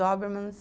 Dobermans